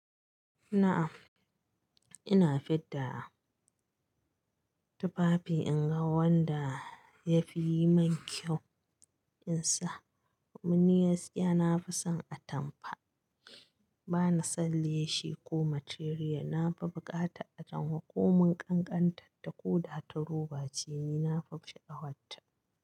Na'am, ina fidda tufafi in ga wanda ya fi yi min kyau. In sa, domin ni gaskiya, na fi son atamfa. Ba ni son leshi ko material. Na fi bukatar atamfa ko mun ƙanƙantar ta koda ta roba ce, ni na fi sha'awarta.